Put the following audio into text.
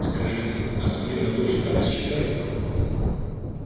скажите а смирно тоже так считает